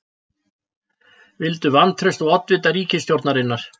Vildu vantraust á oddvita ríkisstjórnina